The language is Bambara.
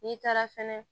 N'i taara fɛnɛ